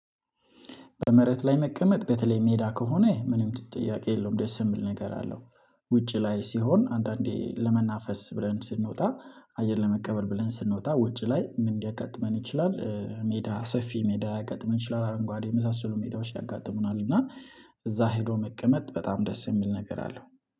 በመሬት ላይ መቀመጥ በተለይ ሜዳ ከሆነ ምንም ጥያቄ የለውም ደስ የምል ነገር አለው። ውጪ ላይ ሲሆን አንዳንዴ ለመናፈስ ብለን ስንወጣ አየር ለመቀበል ብለን ስንወጣ ውጪ ላይ ምን ሊያጋጥመን ይችላል? ሜዳ ሰፊ ሜዳ ሊያጋጥመን ይችላል አረንጓዴ የመሳሰሉ ሜዳዎች ያጋጥሙናል እና። እዛ ሄዶ መቀመጥ በጣም ደስ የሚል ነገር አለው።